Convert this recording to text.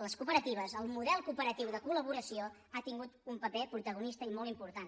les cooperatives el model cooperatiu de col·laboració ha tingut un paper protagonista i molt important